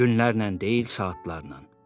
Günlərlə deyil, saatlarla.